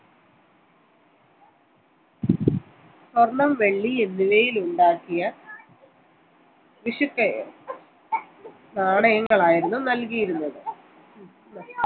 സ്വർണ്ണം വെള്ളി എന്നിവയിൽ ഉണ്ടാക്കിയ പിശുക്ക് നാണയങ്ങൾ ആയിരുന്നു നൽകിയിരുന്നത്